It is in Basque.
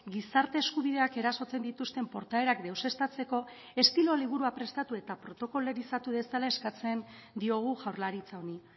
gizarte eskubideak erasotzen dituzten portaerak deuseztatzeko estilo liburua prestatu eta protokolorizatu dezala eskatzen diogu jaurlaritza honi